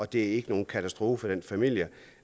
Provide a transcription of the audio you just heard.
det er ikke nogen katastrofe for en familie